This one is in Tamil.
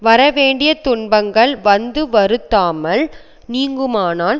வரவேண்டிய துன்பங்கள் வந்து வருத்தாமல் நீங்குமானால்